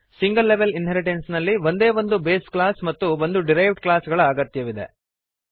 single level inheritance ನಲ್ಲಿ ಒಂದೇ ಒಂದು ಬೇಸ್ ಕ್ಲಾಸ್ ಮತ್ತು ಒಂದು ಡಿರೈವ್ಡ್ ಕ್ಲಾಸ್ ಗಳ ಅಗತ್ಯವಿದೆ